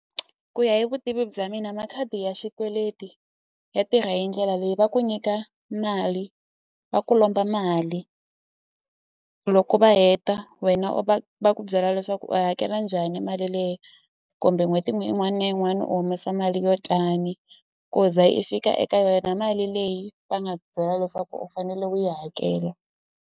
Ku ya hi vutivi bya mina makhadi ya xikweleti ya tirha hi ndlela leyi va ku nyika mali va ku lomba mali loko va heta wena u va va ku ve byela leswaku u yi hakela njhani mali leyi kumbe n'hweti yin'wani na yin'wani u humesa mali yo tani ku za i fika eka yona mali leyi va nga byela leswaku u fanele u yi hakela.